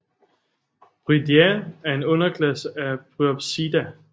Bryidae er en underklasse af Bryopsida